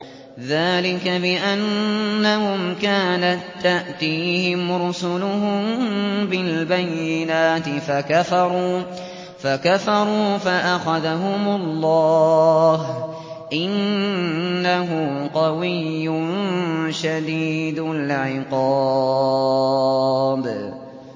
ذَٰلِكَ بِأَنَّهُمْ كَانَت تَّأْتِيهِمْ رُسُلُهُم بِالْبَيِّنَاتِ فَكَفَرُوا فَأَخَذَهُمُ اللَّهُ ۚ إِنَّهُ قَوِيٌّ شَدِيدُ الْعِقَابِ